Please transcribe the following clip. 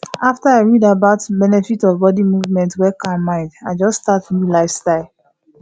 after i read about the benefit of body movement wey calm mind i just start new lifestyle